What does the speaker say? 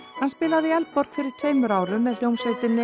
hann spilaði í Eldborg fyrir tveimur árum með hljómsveitinni